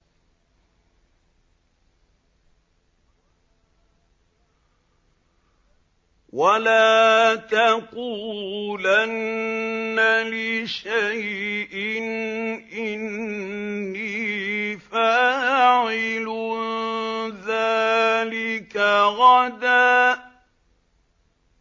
وَلَا تَقُولَنَّ لِشَيْءٍ إِنِّي فَاعِلٌ ذَٰلِكَ غَدًا